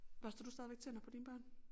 Børster du stadigvæk tænder på dine børn